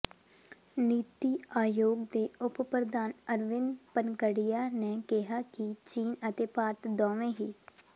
ਨੀਤੀ ਆਯੋਗ ਦੇ ਉਪ ਪ੍ਰਧਾਨ ਅਰਵਿੰਦ ਪਨਗੜੀਆ ਨੇ ਕਿਹਾ ਕਿ ਚੀਨ ਅਤੇ ਭਾਰਤ ਦੋਵੇਂ ਹੀ